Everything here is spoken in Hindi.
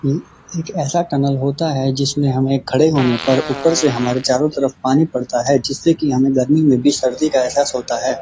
ये एक ऐसा टनल होता है जिसमें हमें खड़े होने पर ऊपर से हमारे चारों तरफ पानी पड़ता है जिससे की गर्मी में भी ठंडी का एहसास होता है।